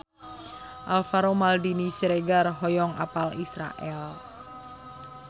Alvaro Maldini Siregar hoyong apal Israel